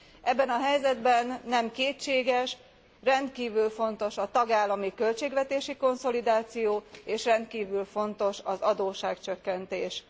Ebben a helyzetben nem kétséges rendkívül fontos a tagállami költségvetési konszolidáció, és rendkívül fontos az adósságcsökkentés.